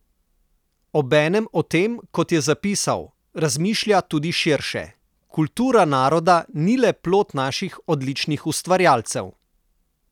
Obenem o tem, kot je zapisal, razmišlja tudi širše: "Kultura naroda ni le plod naših odličnih ustvarjalcev.